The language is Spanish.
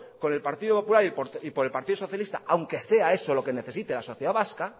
con el partido popular y con el partido socialista aunque sea eso lo que necesite la sociedad vasca